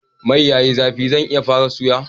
Mai yayi zafi zan iya fara suya?